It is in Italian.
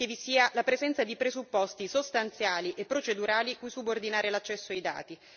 che vi sia la presenza di presupposti sostanziali e procedurali cui subordinare l'accesso ai dati